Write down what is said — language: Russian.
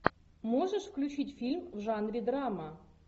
можешь включить фильм в жанре драма